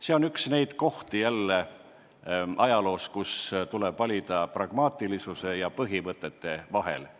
See on jälle üks neid kordi ajaloos, kui tuleb valida pragmaatilisuse ja põhimõtete vahel.